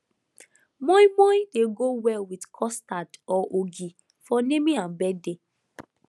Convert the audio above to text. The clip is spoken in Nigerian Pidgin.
moin moin dey go well with custard or ogi for naming and birthday